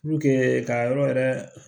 Puruke ka yɔrɔ yɛrɛ